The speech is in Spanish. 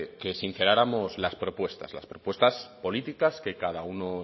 que sinceráramos las propuestas las propuestas políticas que cada uno